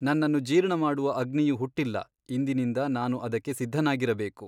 ನನ್ನನ್ನು ಜೀರ್ಣಮಾಡುವ ಅಗ್ನಿಯು ಹುಟ್ಟಿಲ್ಲ ಇಂದಿನಿಂದ ನಾನು ಅದಕ್ಕೆ ಸಿದ್ಧನಾಗಿರಬೇಕು.